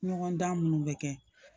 Ɲɔgɔn dan minnu bɛ kɛ